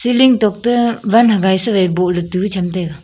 Ceiling tok toh wan hagai sa boh tu chem taiga.